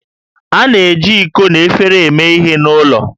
A na-eji iko na efere eme ihe n'ụlọ